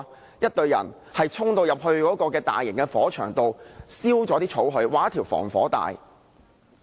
由一隊人衝入大型火場中把草燒掉，劃出一條防火帶。